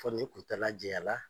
Fɔni kuntala jayanla.